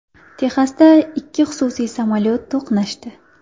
Texasda ikki xususiy samolyot to‘qnashdi .